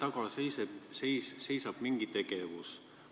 Kas selle taga seisab mingi tegevus?